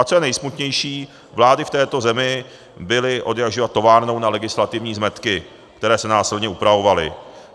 A co je nejsmutnější, vlády v této zemi byly odjakživa továrnou na legislativní zmetky, které se násilně upravovaly.